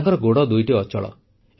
ତାଙ୍କର ଗୋଡ଼ ଦୁଇଟି ଅଚଳ